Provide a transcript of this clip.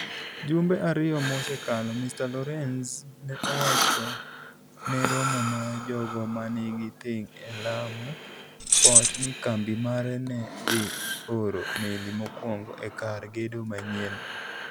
Jumbe ariyo mosekalo, Mr. Lorenz ne owacho ne romo mar jogo ma nigi ting' e Lamu Port ni kambi mare ne dhi oro meli mokwongo e kar gedo manyienno.